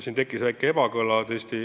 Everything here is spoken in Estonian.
Siin tekkis väike ebakõla.